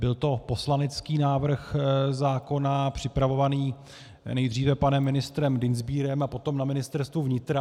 Byl to poslanecký návrh zákona připravovaný nejdříve panem ministrem Dienstbierem a potom na Ministerstvu vnitra.